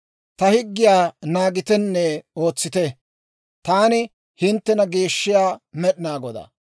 Ta higgiyaa naagitenne ootsite. Taani hinttena geeshshiyaa Med'inaa Godaa.